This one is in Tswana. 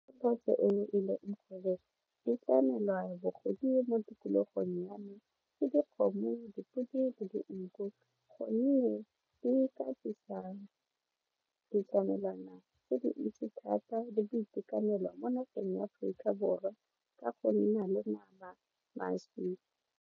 tikologong ya me ke dikgomo, dipodi le dinku gonne di ka tlisa ditlamelwana tse di ntsi thata di boitekanelo mo nageng ya Aforika Borwa ka go nna le nama mašwi